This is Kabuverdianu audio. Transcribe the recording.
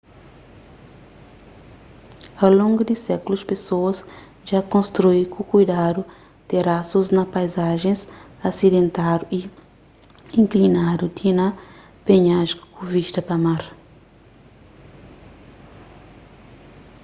au longu di sékulus pesoas dja konstrui ku kuidadu terasus na paizajens asidentadu y inklinadu ti na penhasku ku vista pa mar